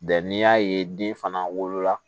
n'i y'a ye den fana wolola